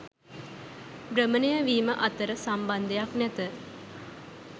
භ්‍රමණය වීම අතර සම්බන්ධයක් නැත.